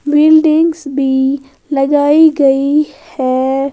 Buildings भी लगाई गई है।